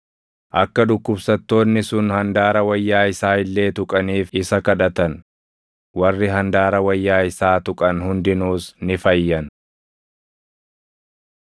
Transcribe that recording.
akka dhukkubsattoonni sun handaara wayyaa isaa illee tuqaniif isa kadhatan; warri handaara wayyaa isaa tuqan hundinuus ni fayyan.